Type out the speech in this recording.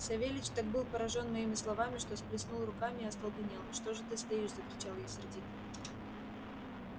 савельич так был поражён моими словами что сплеснул руками и остолбенел что же ты стоишь закричал я сердито